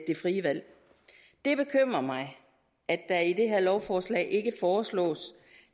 det frie valg det bekymrer mig at der i det her lovforslag ikke foreslås